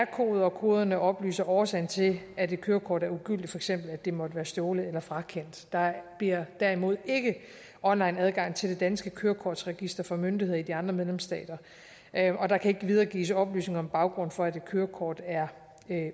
koder og koderne oplyser årsagen til at et kørekort er ugyldigt for eksempel at det måtte være stjålet eller frakendt der bliver derimod ikke onlineadgang til det danske kørekortregister for myndigheder i de andre medlemsstater og der kan ikke videregives oplysninger om baggrunden for at et kørekort er